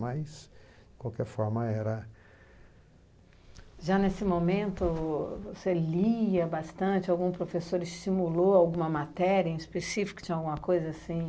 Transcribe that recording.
Mas, qualquer forma, era... Já nesse momento, você lia bastante, algum professor estimulou alguma matéria em específico, tinha alguma coisa assim?